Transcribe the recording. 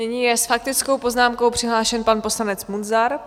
Nyní je s faktickou poznámkou přihlášen pan poslanec Munzar.